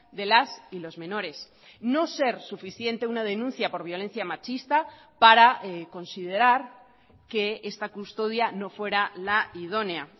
de las y los menores no ser suficiente una denuncia por violencia machista para considerar que esta custodia no fuera la idónea